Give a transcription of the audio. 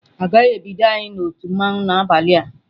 Agaghị ebido anyị na otu mmanwu n'abalị a..